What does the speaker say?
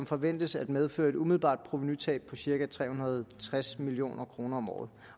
forventes at medføre et umiddelbart provenutab på cirka tre hundrede og tres million kroner om året